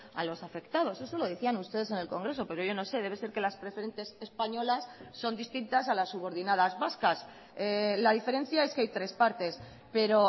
a los afectados eso lo decían ustedes en el congreso pero yo no sé debe ser que las preferentes españolas son distintas a las subordinadas vascas la diferencia es que hay tres partes pero